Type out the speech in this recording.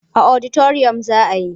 A oditariyam za a yi.